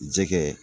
Jɛgɛ